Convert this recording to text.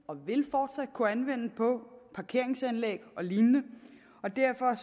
og vil fortsat kunne anvende på parkeringsanlæg og lignende og derfor